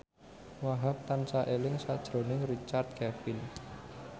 Wahhab tansah eling sakjroning Richard Kevin